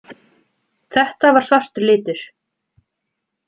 Þetta var svartur litur.